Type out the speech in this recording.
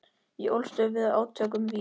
Ég ólst upp við átök um vín.